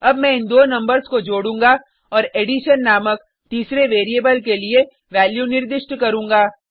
अब मैं इन दो नंबर्स को जोडूँगा और एडिशन नामक तीसरे वेरिएबल के लिए वैल्यू निर्दिष्ट करूँगा